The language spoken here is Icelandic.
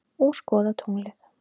Og skoða tunglið.